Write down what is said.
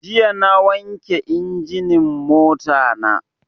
Jiya na wanke injinin mota na